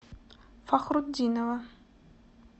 фахрутдинова